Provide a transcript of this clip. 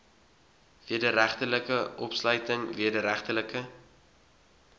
wederregtelike opsluiting wederregtelike